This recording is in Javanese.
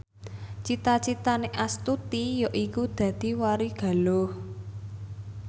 cita citane Astuti yaiku dadi warigaluh